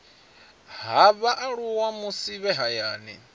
ha vhaaluwa musi vhe hayani